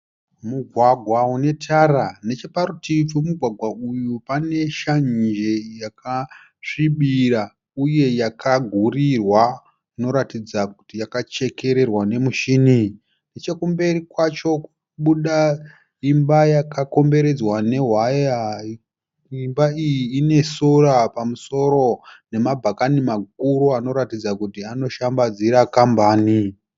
Mugwagwa une tara, neche parutivi pemugwagwa uyu pane shanje yakasvibira uye yakagurirwa inoratidza kuti yakachekererwa memushini. Neche kumberi kwacho kukubuda imba yakakomberedzwa nehwaya, imba iyi ine sora pamusoro nema bhakani makuru anoratidza kuti anoshambadzira kambani.